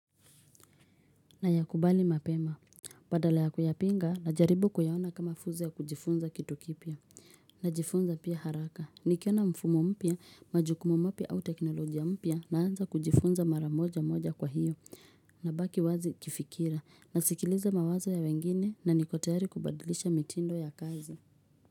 Na ya kubali mapema. Badala ya kuyapinga na jaribu kuiona kama fursa ya kujifunza kitu kipya. Na jifunza pia haraka. Nikiona mfumo mpya, majukumu mapya au teknolojia mpya na anza kujifunza maramoja moja kwa hiyo. Na baki wazi kifikira. Nasikiliza mawazo ya wengine na niko tayari kubadilisha mitindo ya kazi.